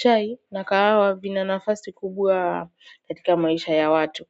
Chai na kahawa vina nafasi kubwa katika maisha ya watu.